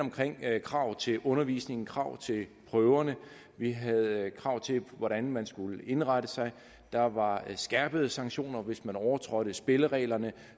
krav til undervisning krav til prøverne vi havde krav til hvordan man skulle indrette sig der var skærpede sanktioner hvis man overtrådte spillereglerne